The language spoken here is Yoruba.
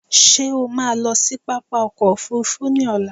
Ṣé o ma lọ sí pápá ọkò òfurufú ni ọ̀la?